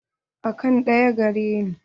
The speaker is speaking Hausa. Akant ɗaya gare ni.